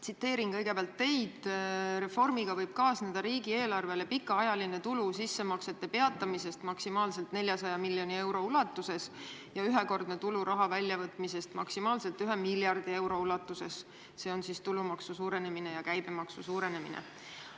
Tsiteerin kõigepealt teid: "Reformiga võib kaasneda riigieelarvele pikaajaline tulu sissemaksete peatamisest maksimaalselt 400 miljoni euro ulatuses ja ühekordne tulu raha väljavõtmisest maksimaalselt 1 miljardi euro ulatuses, see on seotud tulumaksu suurenemise ja käibemaksu suurenemisega.